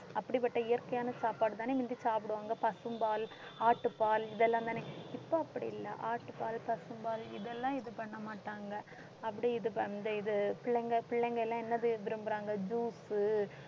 அப்படிப்பட்ட இயற்கையான சாப்பாடுதான முந்தி சாப்பிடுவாங்க பசும்பால், ஆட்டுப்பால் இதெல்லாம்தானே இப்ப அப்படி இல்லை ஆட்டுப்பால், பசும்பால் இதெல்லாம் இது பண்ண மாட்டாங்க அப்படி இது வந்து இது பிள்ளைங்க பிள்ளைங்க எல்லாம் என்ன செய்ய விரும்பறாங்க juice உ